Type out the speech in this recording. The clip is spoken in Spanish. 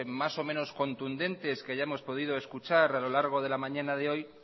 más o menos contundentes que hayamos podido escuchar a lo largo de la mañana de hoy